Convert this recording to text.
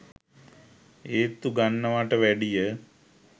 ඒත්තු ගන්නනවට වැඩිය.